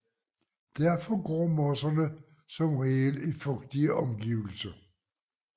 Derfor gror mosser som regel i fugtige omgivelser